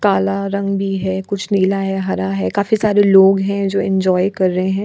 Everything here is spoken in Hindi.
काला रंग भी है कुछ नीला है हरा है काफी सारे लोग हैं जो एंजॉय कर रहे हैं।